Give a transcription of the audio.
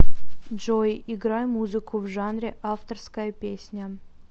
джой играй музыку в жанре авторская песня